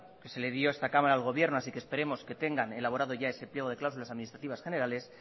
que se le dio esta cámara al gobierno así que esperemos que tengan elaborado ya ese pliego de cláusulas administrativas generales